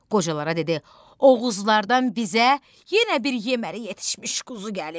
Qocalara dedi: Oğuzlardan bizə yenə bir yeməli yetişmiş quzu gəlib.